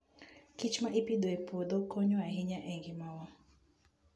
kichma ipidho e puodho konyo ahinya e ngimawa.